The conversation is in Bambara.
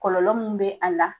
Kɔlɔlɔ mun be a la